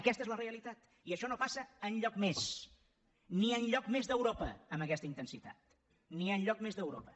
aquesta és la realitat i això no passa enlloc més ni enlloc més d’europa amb aquesta intensitat ni enlloc més d’europa